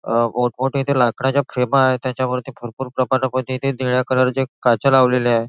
अ इथे लाकडाच्या खेपा आहेत त्याच्यावरती भरपूर प्रमाणामध्ये निळ्या कलर च्या काचा लावलेल्याए.